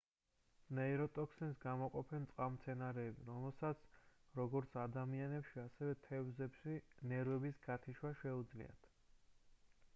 ნეიროტოქსინს გამოყოფენ წყალმცენარეები რომელსაც როგორც ადამიანებში ასევე თევზებში ნერვების გათიშვა შეუძლია